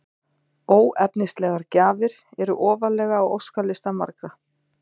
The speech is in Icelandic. Óefnislegar gjafir eru ofarlega á óskalista margra.